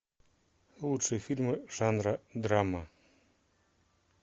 лучшие фильмы жанра драма